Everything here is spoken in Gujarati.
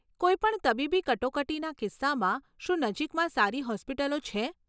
કોઈ પણ તબીબી કટોકટીના કિસ્સામાં, શું નજીકમાં સારી હોસ્પિટલો છે?